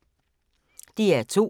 DR2